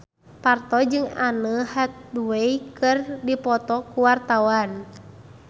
Parto jeung Anne Hathaway keur dipoto ku wartawan